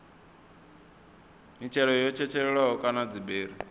mitshelo yo tshetshelelwaho kana dziberi